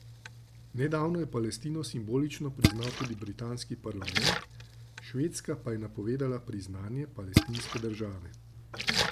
Nedavno je Palestino simbolično priznal tudi britanski parlament, Švedska pa je napovedala priznanje palestinske države.